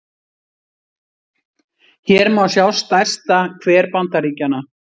hér má sjá stærsta hver bandaríkjanna